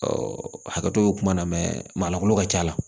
hakɛto bɛ kuma na maa lankolon ka ca